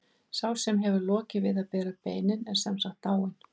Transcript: Sá sem hefur lokið við að bera beinin er sem sagt dáinn.